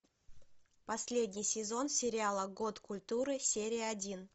последний сезон сериала год культуры серия один